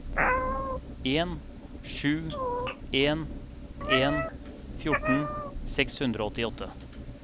en sju en en fjorten seks hundre og åttiåtte